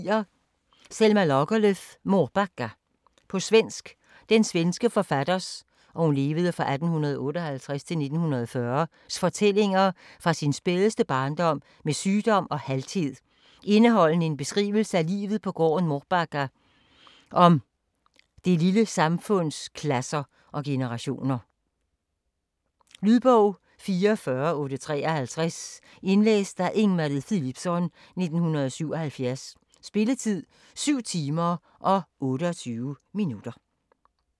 Lagerlöf, Selma: Mårbacka På svensk. Den svenske forfatters (1858-1940) fortællinger fra sin spædeste barndom med sygdom og halthed, indeholdende en beskrivelse af livet på gården Mårbacka og om det lille samfunds klasser og generationer. Lydbog 44853 Indlæst af Ing-Marie Philipsson, 1977. Spilletid: 7 timer, 28 minutter.